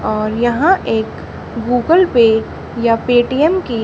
और यहां एक गूगल पे या पेटीएम कि--